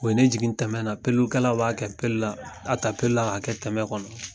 O ye ne jigin tɛmɛ na peelukɛlaw b'a kɛ peelu la. A ta peelu la k'a kɛ tɛmɛ kɔnɔ.